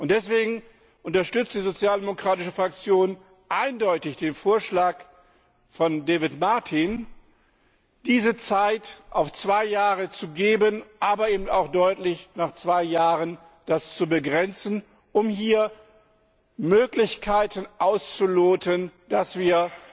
Deswegen unterstützt die sozialdemokratische Fraktion eindeutig den Vorschlag von David Martin, dafür zwei Jahre Zeit zu geben, aber dies auch deutlich auf zwei Jahren zu begrenzen, um hier Möglichkeiten auszuloten, wie wir